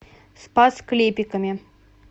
спас клепиками